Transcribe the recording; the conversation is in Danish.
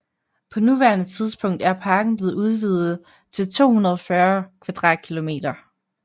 På nuværende tidspunkt er parken blevet udvidet til 240 km²